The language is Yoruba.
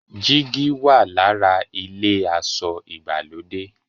jìgì wà l'ára ilé aṣọ ìgbàlódé.